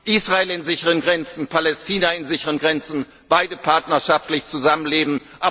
Israel in sicheren Grenzen, Palästina in sicheren Grenzen, beide partnerschaftlich zusammenlebend.